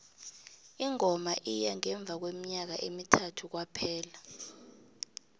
ingoma iya ngemva kweminyaka emithathu kwaphela